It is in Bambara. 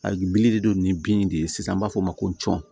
A bili de don ni bin de ye sisan an b'a fɔ o ma ko cɔn